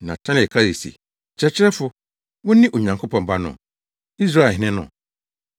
Natanael kae se, “Kyerɛkyerɛfo, wone Onyankopɔn Ba no, Israelhene no!”